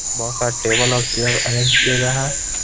बहोत सारे टेबल और चेयर अरेंज किए गए हैं.